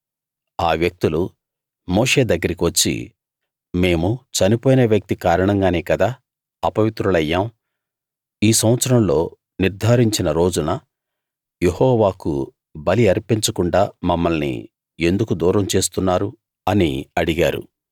ఆ వ్యక్తులు మోషే దగ్గరకి వచ్చి మేము చనిపోయిన వ్యక్తి కారణంగానే కదా అపవిత్రులమయ్యాం ఈ సంవత్సరంలో నిర్ధారించిన రోజున యెహోవాకు బలి అర్పించకుండా మమ్మల్ని ఎందుకు దూరం చేస్తున్నారు అని అడిగారు